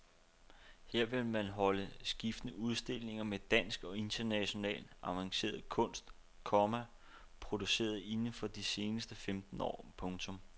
Her vil man holde skiftende udstillinger med dansk og international avanceret kunst, komma produceret inden for de seneste femten år. punktum